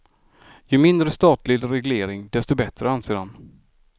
Ju mindre statlig reglering desto bättre, anser han.